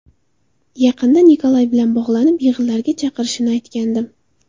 Yaqinda Nikolay bilan bog‘lanib, yig‘inlarga chaqirishimni aytgandim.